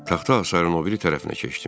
Taxta hasarın o biri tərəfinə keçdim.